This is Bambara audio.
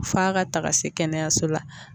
F'a ka taga se kɛnɛyaso la